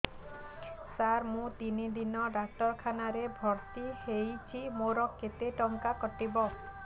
ସାର ମୁ ତିନି ଦିନ ଡାକ୍ତରଖାନା ରେ ଭର୍ତି ହେଇଛି ମୋର କେତେ ଟଙ୍କା କଟିବ